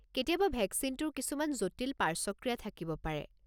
কেতিয়াবা ভেকচিনটোৰ কিছুমান জটিল পাৰ্শ্বক্ৰিয়া থাকিব পাৰে।